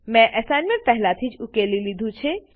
મેં એસાઈનમેંટ પહેલાથી જ ઉકેલી દીધું છે